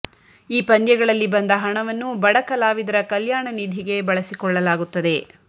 ಈ ಪಂದ್ಯಗಳಲ್ಲಿ ಬಂದ ಹಣವನ್ನು ಬಡ ಕಲಾವಿದರ ಕಲ್ಯಾಣ ನಿಧಿಗೆ ಬಳಸಿಕೊಳ್ಳಲಾಗುತ್ತದೆ